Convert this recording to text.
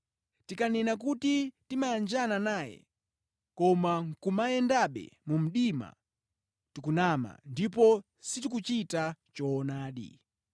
Tikanena kuti timayanjana naye, koma nʼkumayendabe mu mdima, tikunama ndipo sitikuchita choonadi.